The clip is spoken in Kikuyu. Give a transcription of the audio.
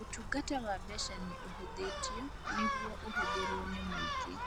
Ũtungata wa mbeca nĩ ũhũthĩtio nĩguo ũhũthĩrũo nĩ mũingĩ